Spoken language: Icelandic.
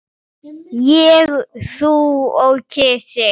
Ég, þú og kisi.